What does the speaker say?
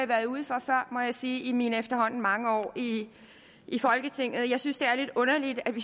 været ude for før må jeg sige i mine efterhånden mange år i i folketinget jeg synes det er lidt underligt at vi